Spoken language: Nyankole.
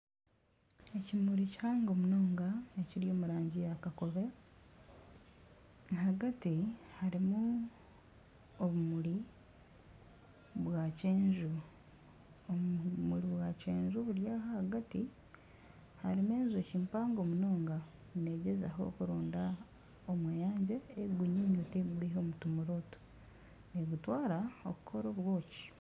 Ekimuri kihango munonga ekiri omurangi ya kakobe ahagati harimu obumuri bwa kyenju obumuri bwa kyenju buri aha ahagati harimu enjoki mpango munonga negyezaho kuronda omweyangye erikugunyuyuta erikugwiha omu tumuri otu negutwara kukora obwoki.